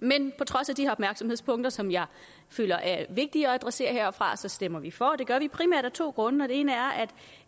men på trods af de her opmærksomhedspunkter som jeg føler er vigtige at adressere herfra stemmer vi for det gør vi primært af to grunde den ene er